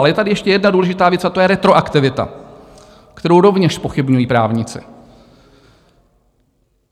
Ale je tady ještě jedna důležitá věc a to je retroaktivita, kterou rovněž zpochybňují právníci.